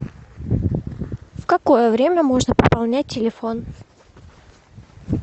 в какое время можно пополнять телефон